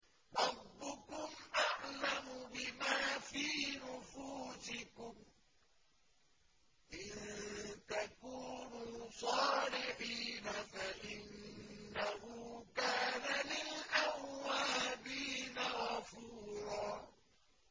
رَّبُّكُمْ أَعْلَمُ بِمَا فِي نُفُوسِكُمْ ۚ إِن تَكُونُوا صَالِحِينَ فَإِنَّهُ كَانَ لِلْأَوَّابِينَ غَفُورًا